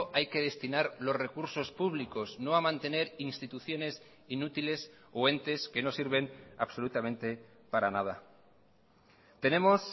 hay que destinar los recursos públicos no a mantener instituciones inútiles o entes que no sirven absolutamente para nada tenemos